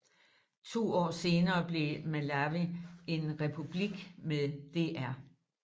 To år senere blev Malawi en republik med dr